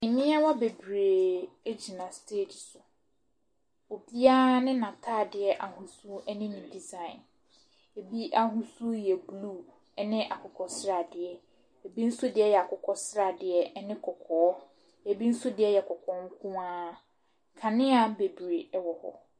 Mmaayewa bebree gyina stage so, obiara ne n’ataade ahosuo ne ne design, bi ahosuo yɛ blue ne akokɔsradeɛ, bi nso deɛ yɛ akokɔsradeɛ ne kɔkɔɔ, bi nso deɛ yɛ kɔkɔɔ nkoara, kanea bebree wɔ hɔ.